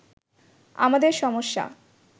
আমাদের সমস্যা